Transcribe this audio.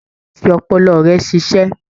Fi ọpọlọ rẹ sí iṣẹ́